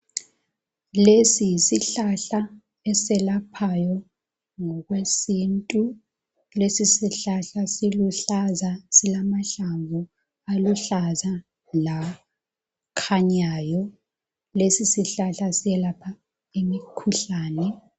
Lesi yisihlahla eselaphayo ngokwesintu lesi sihlahla siluhlaza silamahlamvu aluhlaza lakhanyayo lesi sihlahla siyelapha imikhuhlane